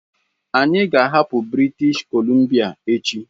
Anyị ga-ahapụ British Columbia echi!